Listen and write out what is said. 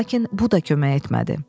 Lakin bu da kömək etmədi.